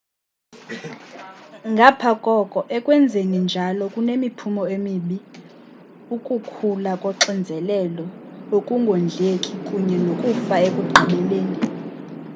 ngapha koko ekwenzeni njalo kunemiphumo emibi ukukhula koxinzelelo ukungondleki kunye nokufa ekugqibeleni